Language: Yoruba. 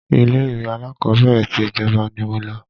ilé ìwé alákọ́bẹ̀rẹ̀ ti ìjọba ni mo lọ